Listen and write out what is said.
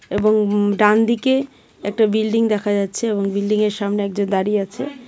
এবং উম ডানদিকে একটা বিল্ডিং দেখা যাচ্ছে এবং বিল্ডিংয়ের সামনে একজন দাঁড়িয়ে আছে .